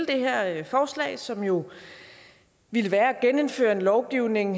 det her forslag som jo ville være at genindføre en lovgivning